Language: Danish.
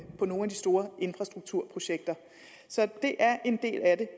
på nogle af de store infrastrukturprojekter så det er en del af det